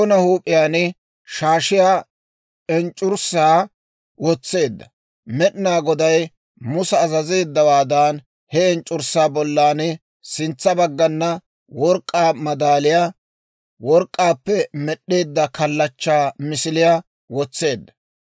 K'aykka Aaroona huup'iyaan shaashiyaa enc'c'urssaa wotseedda. Med'inaa Goday Musa azazeeddawaadan he enc'c'urssaa bollan sintsa baggana work'k'aa madaaliyaa, work'k'aappe med'd'eedda kalachchaa misiliyaa wotseedda.